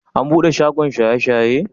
An bude shagon shaye-shaye?